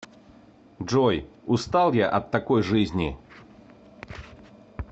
джой устал я от такой жизни